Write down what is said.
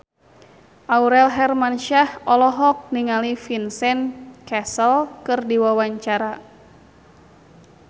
Aurel Hermansyah olohok ningali Vincent Cassel keur diwawancara